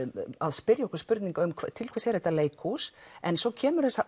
að spyrja okkur spurninga um til hvers er þetta leikhús en svo kemur